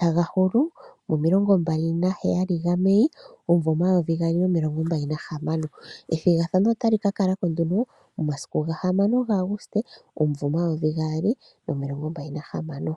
taga hulu mo27 Mei 2026. Ethigathano otali kakala ko momasiku 6 Aguste 2026.